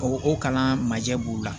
O o kalan ma kɛ b'u la